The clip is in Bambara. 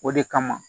O de kama